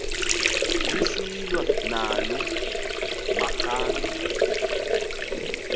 lisilwa naloo marhamncwa